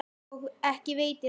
Og ekki veitir af.